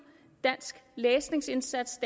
læsningsindsats